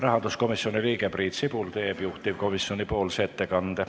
Rahanduskomisjoni liige Priit Sibul teeb juhtivkomisjoni ettekande.